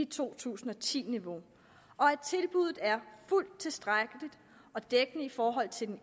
to tusind og ti niveau og at tilbuddet er fuldt tilstrækkeligt og dækkende i forhold til den